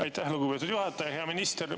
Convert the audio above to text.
Aitäh, lugupeetud juhataja!